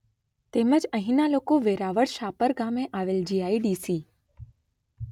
તેમજ અહીંનાં લોકો વેરાવળ શાપર ગામે આવેલ જી.આઈ.ડી.સી.